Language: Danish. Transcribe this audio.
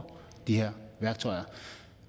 de her værktøjer